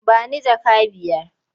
Ba ni jaka biyar?